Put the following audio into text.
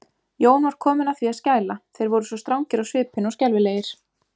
Jón var kominn að því að skæla, þeir voru svo strangir á svipinn og skelfilegir.